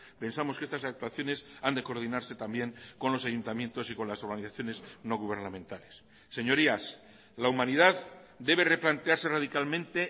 pensamos que estas actuaciones han de coordinarse también con los ayuntamientos y con las organizaciones no gubernamentales señorías la humanidad debe replantearse radicalmente